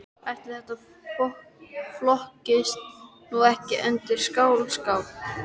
Ætli þetta flokkist nú ekki undir skáldskap.